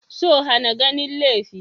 So hana ganin laifi.